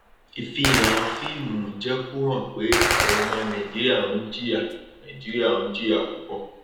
ìfihàn fíìmù jé kó hàn pé àwọn ọmọ nàìjíríà ń jìyà nàìjíríà ń jìyà púpọ